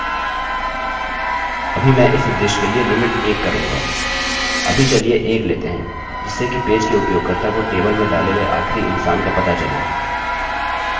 अभी चलिए 1 लेते हैं जिससे कि पेज के उपयोगकर्ता को टेबलतालिकामें डाले गये आखिरी इंसान का पता चले